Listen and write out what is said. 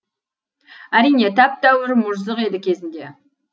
әрине тәп тәуір мұжзық еді кезінде